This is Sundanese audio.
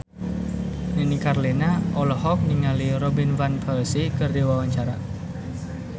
Nini Carlina olohok ningali Robin Van Persie keur diwawancara